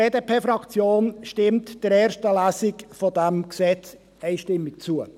Die BDP-Fraktion stimmt der ersten Lesung dieses Gesetzes einstimmig zu.